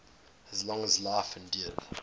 as long as life endures